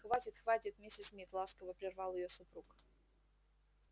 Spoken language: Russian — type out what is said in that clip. хватит хватит миссис мид ласково прервал её супруг